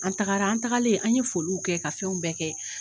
An tagara an tagalen an ye foliw kɛ ka fɛnw bɛɛ kɛ.